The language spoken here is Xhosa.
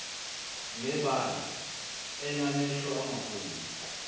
ngebala enamehlo amakhulu